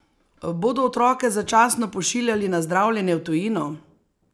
Bodo otroke začasno pošiljali na zdravljenje v tujino?